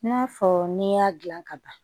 I n'a fɔ n'i y'a dilan ka ban